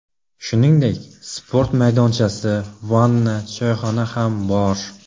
Shuningdek, sport maydonchasi, vanna, choyxona ham bor.